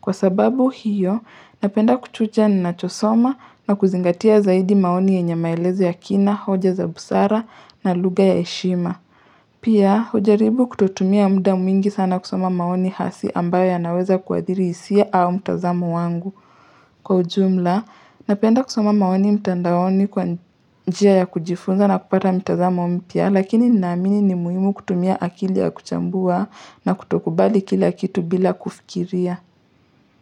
Kwa sababu hiyo, napenda kuchuja ninachosoma na kuzingatia zaidi maoni yenye maelezo ya kina, hoja za busara na lugha ya heshima. Pia, hujaribu kutotumia mda mwingi sana kusoma maoni hasi ambayo yanaweza kuadhiri hisia au mtazamo wangu. Kwa ujumla, napenda kusoma maoni mtandaoni kwa njia ya kujifunza na kupata mitazamo mpya, lakini ninaamini ni muhimu kutumia akili ya kuchambua na kutokubali kila kitu bila kufikiria.